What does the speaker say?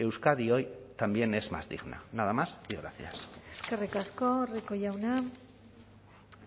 euskadi hoy también es más digna nada más y gracias eskerrik asko rico jauna